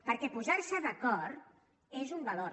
perquè posar se d’acord és un valor